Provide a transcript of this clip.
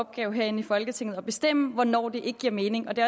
opgave herinde i folketinget at bestemme hvornår det ikke giver mening og det